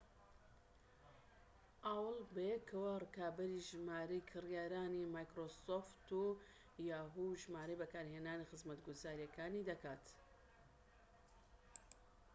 ژمارەی بەکارهێنەرانی خزمەتگوزاریەکانی yahoo! و‎ microsoft ‎بەیەکەوە، ڕکابەری ژمارەی کڕیارەکانی‎ aol ‎دەکات‎